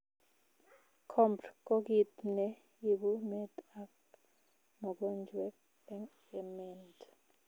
Copd koo kiit ne ibuu meet ak mogonjweet eng ement